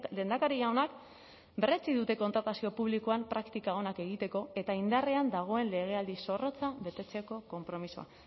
lehendakari jaunak berretsi dute kontratazio publikoan praktika onak egiteko eta indarrean dagoen legealdi zorrotza betetzeko konpromisoa